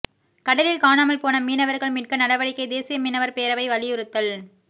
கடலில் காணாமல் போன மீனவர்கள் மீட்க நடவடிக்கை தேசிய மீனவர் பேரவை வலியுறுத்தல்